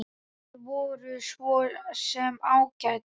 Þær voru svo sem ágætar.